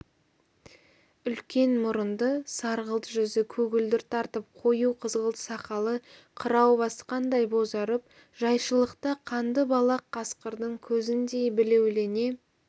үлкен мұрынды сарғылт жүзі көгілдір тартып қою қызғылт сақалы қырау басқандай бозарып жайшылықта қанды балақ қасқырдың көзіндей білеулене